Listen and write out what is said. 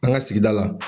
An ka sigida la